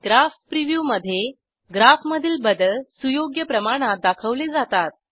graph preview मधे ग्राफमधील बदल सुयोग्य प्रमाणात दाखवले जातात